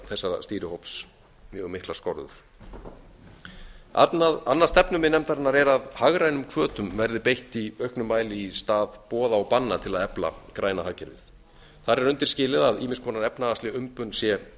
þessa stýrihóps mjög miklar skorður annað stefnumið nefndarinnar er að hagrænum hvötum verði beitt í auknum mæli í stað boða og banna til að efla græna hagkerfið þar er undirskilið að ýmis efnahagsleg umbun sé